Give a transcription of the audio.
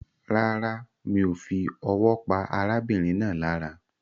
Rárá, mi o fi owó pa arábìnrin náà lára